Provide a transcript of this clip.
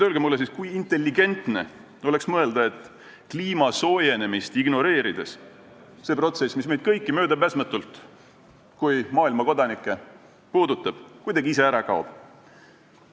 Öelge mulle siis, kui intelligentne oleks kliima soojenemist ignoreerides mõelda, et see protsess, mis meid kõiki kui maailmakodanikke möödapääsmatult puudutab, kuidagi ise ära kaob.